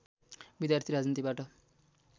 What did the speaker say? विद्यार्थी राजनीतिबाट